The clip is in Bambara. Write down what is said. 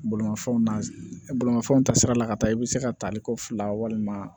Bolimafɛnw na bolimafɛnw ta sira la ka taa i bɛ se ka tali ko fila walima